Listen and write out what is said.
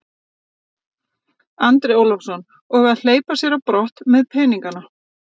Andri Ólafsson: Og að hleypa sér á brott með peningana?